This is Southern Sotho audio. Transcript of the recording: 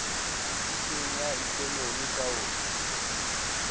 tsitsitseng ya ekonomi ka ho